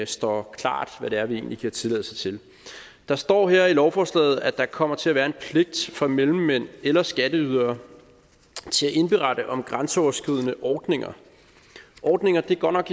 står klart hvad det er vi egentlig giver tilladelse til der står her i lovforslaget at der kommer til at være en pligt for mellemmænd eller skatteydere til at indberette om grænseoverskridende ordninger ordninger er godt nok